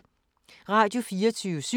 Radio24syv